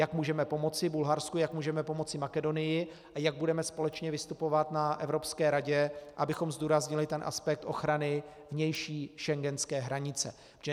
Jak můžeme pomoci Bulharsku, jak můžeme pomoci Makedonii a jak budeme společně vystupovat na Evropské radě, abychom zdůraznili ten aspekt ochrany vnější schengenské hranice.